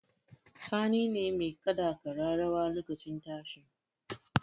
Sani ne mai kaɗa ƙararrawar lokacin tashi